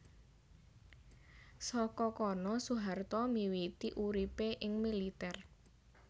Saka kono Soeharto miwiti uripé ing militèr